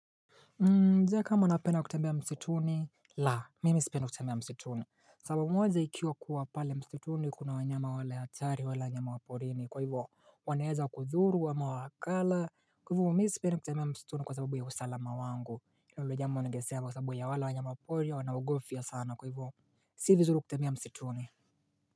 Na Je, kama napenda kutembea msituni, la mimi sipendi kutembea msituni, sababu moja ikiwa kuwa pale msituni kuna wanyama wale hatari wale wanyama waporini kwa hivyo wanaeza kudhuru ama wakala Kwa hivyo mimi sipendi kutembea msituni kwa sababu ya usalama wangu, Kwa hivyo jambo ningesema kwa sababu ya wale wanyamapori wanaogofya sana, kwa hivo si vizuri kutembea msituni.